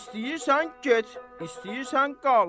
İstəyirsən get, istəyirsən qal.